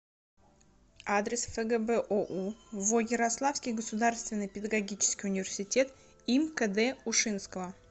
адрес фгбоу во ярославский государственный педагогический университет им кд ушинского